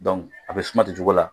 a bɛ suma ten cogo la.